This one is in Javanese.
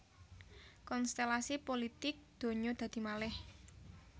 Konstèlasi pulitik ndonyo dadi malèh